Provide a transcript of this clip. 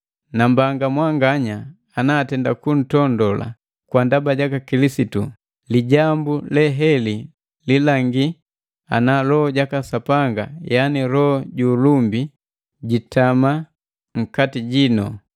Nambanga mwanganaya ana atenda kuntondola kwa ndaba jaka Kilisitu, lijambu leheli lilangi ana Loho jaka Sapanga, yani Loho ju ulumbi, jitama nkati jino.